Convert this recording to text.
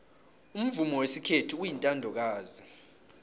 umvumo wesikhethu uyintandokazi